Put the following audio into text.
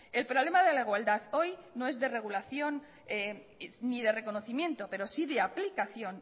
el problema de la igualdad hoy no es de regulación ni de reconocimiento pero sí de aplicación